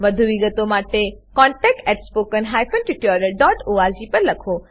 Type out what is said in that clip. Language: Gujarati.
વધુ વિગતો માટે કૃપા કરી contactspoken tutorialorg પર લખો